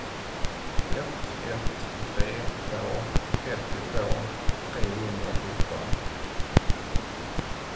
ett ett tre två trettiotvå trehundrasjutton